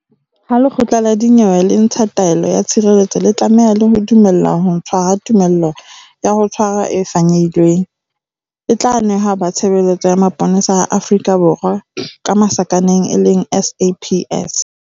Ha lekgotla la dinyewe le ntsha taelo ya tshireletso le tlameha le ho dumella ho ntshwa ha tumello ya ho tshwara e fanyehilweng, e tla nehwa ba Tshebeletso ya Mapolesa a Afrika Borwa, SAPS.